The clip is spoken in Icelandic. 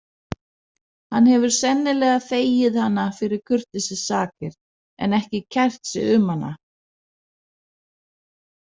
Hann hefur sennilega þegið hana fyrir kurteisissakir en ekki kært sig um hana.